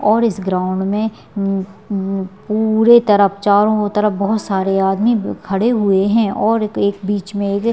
और इस ग्राउंड में हम्म हम्म पुरे तरफ़ चारो तरफबोहोत सारे आदमी खड़े हुए है और एक बीच में एक--